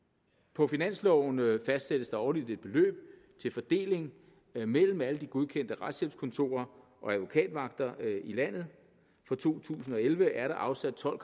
på finansloven fastsættes der årligt et beløb til fordeling mellem alle de godkendte retshjælpskontorer og advokatvagter i landet og fra to tusind og elleve er der afsat tolv